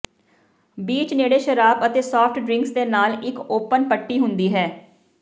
beach ਨੇੜੇ ਸ਼ਰਾਬ ਅਤੇ ਸਾਫਟ ਡਰਿੰਕਸ ਦੇ ਨਾਲ ਇੱਕ ਓਪਨ ਪੱਟੀ ਹੁੰਦੀ ਹੈ